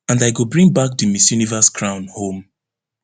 and i go bring back di miss universe crown home